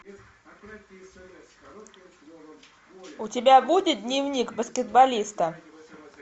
у тебя будет дневник баскетболиста